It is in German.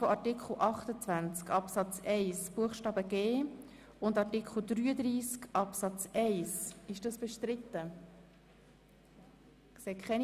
Das andere, das ich Ihnen noch kurz mitteilen möchte, betrifft Mirjam Veglio.